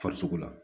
Farisogo la